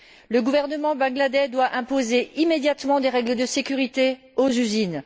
Le gouvernement bangladais doit imposer immédiatement des règles de sécurité aux usines.